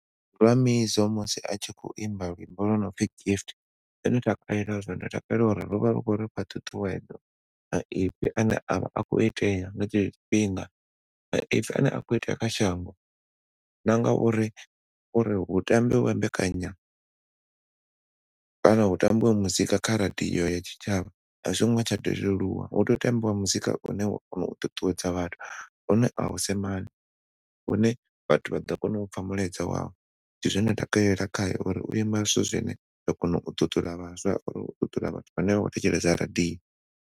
Huna Mizo musi a tshi khou imba luimbo lwo no pfi gift ṋne ndo takalela zwone, ndo takalela uri lwo vha lu khou rifha ṱhuṱhuwedzo ane a vha a khou itea nga tshe tsho tshifhinga maipfi ane a khou itea kha shango na ngauri hu tambiwe mbekanya kana hu tambiwe muzika kha radio ya tshitshavha a zwingo tsha leluwa hu tea u tambiwa muzika une wa kona u ṱuṱuwedza vhathu une au semani, une vhathu vha ḓo kona u pfa mulaedza wawo ndi zwe nda takalela khae uri u imba zwithu zwine zwa kona u ṱuṱula kana u ṱuṱula hanefho vhono thetshelesa radio.